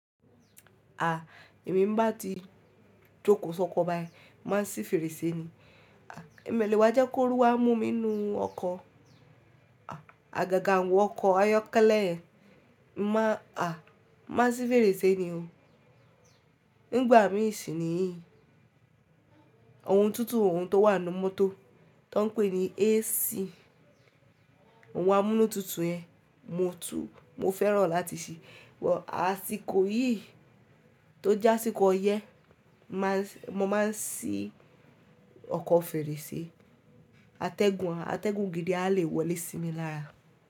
A, èmi ń bá ti jókòó sọkọ báyìí, máa sí fèrèsé ni. Ẹ̀mi olè wà jẹ́ kó rú wa mu mi nu ọkọ̀. Àgàgà àwọn ọkọ̀ ayọ́kẹ́lẹ́ yẹn. Máa, a, má sì fèrèsé ni o. Nígbà mí ìṣìniyí ohun tuntun ohun tó wà nínú mọ́tò tón pè ní AC, ohun amúnútutù yẹn mo tú, mo fẹ́ràn láti ṣí. But àsìkò yìí tó jásíkò ọyẹ́ má sì, mo máa ń sí ọkọ̀ fèrèsé. Atẹ́gùn, atẹ́gùn gidi a lè wọlé sí mi lára.